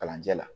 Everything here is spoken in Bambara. Kalanjɛ la